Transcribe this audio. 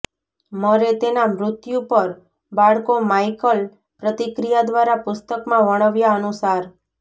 મરે તેના મૃત્યુ પર બાળકો માઈકલ પ્રતિક્રિયા દ્વારા પુસ્તક માં વર્ણવ્યા અનુસાર